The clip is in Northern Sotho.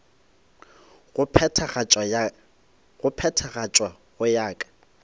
go phethagatšwa go ya ka